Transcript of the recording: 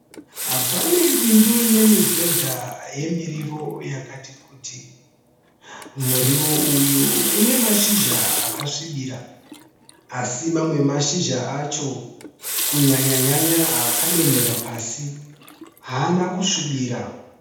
Pane bindu rinemibhedha yemiriwi yakati kuti. Muriwo uyu unemashizha akasvibira. Asi mamwe emashizha acho kunyanya-nyanya akadonhera pasi haana kusvibira.